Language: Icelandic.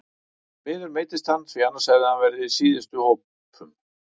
Því miður meiddist hann því annars hefði hann verið í síðustu hópum.